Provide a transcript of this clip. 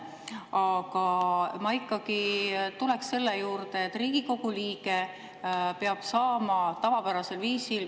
Aga ma ikkagi tuleks selle juurde, et Riigikogu liige peab saama tavapärasel viisil …